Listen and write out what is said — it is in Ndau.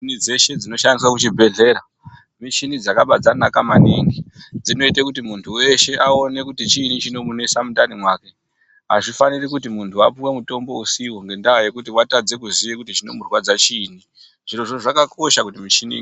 Michini dzeshe dzinoshandiswa kuchibhedhlera, michini dzakaba dzanaka maningi dzinoite kuti muntu weshe aone kuti chiinyi chinomunesa mundani make azvifaniri kuti muntu apuwe mutombo usiwo ngendaa yekuti watadze kuziya kuti chinomurwadza chiinyi, zvirozvo zvakakosha kuti michini.